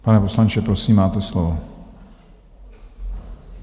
Pane poslanče, prosím, máte slovo.